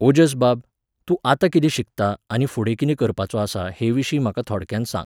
ओजस बाब, तूं आता कितें शिकता आनी फुडें कितें करपाचो आसा हेविशीं म्हाका थोडक्यान सांग.